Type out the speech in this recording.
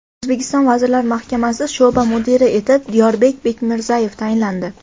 O‘zbekiston Vazirlar Mahkamasi sho‘ba mudiri etib Diyorbek Bekmirzayev tayinlandi.